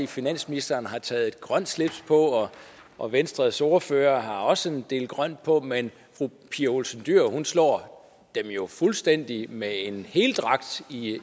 finansministeren har taget et grønt slips på og venstres ordfører har også en del grønt på men fru pia olsen dyhr slår dem jo fuldstændig med en